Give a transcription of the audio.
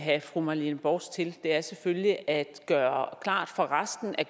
have fru marlene borst hansen til er selvfølgelig at gøre klart for resten af